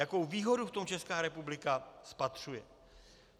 Jakou výhodu v tom Česká republika spatřuje?